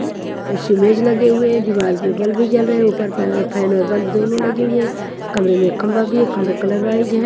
कुर्सी मेज लगे हुए है दीवार पर बल्ब भी जल रहे है उपर फैन और बल्ब दोनों लगे हुए है कमरे में खंबा भी है खंबे कलर वाइज़ है।